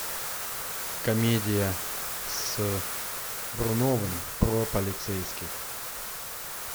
комедия с бруновым про полицейских